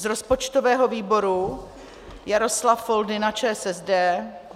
Z rozpočtového výboru Jaroslav Foldyna ČSSD.